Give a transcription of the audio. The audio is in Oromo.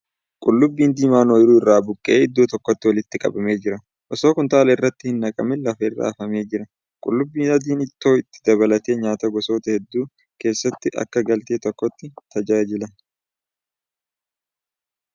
Qullubbii diimaan ooyiruu irraa buqqa'ee iddoo tokkotti walitti qabamee jira. Osoo kuntaala irratti hin naqamin lafa irra hafamee jira . Qullubbii adiin ittoo dabalatee nyaataa gosoota hedduu keessatti akka galtee tokkootti tajaajila.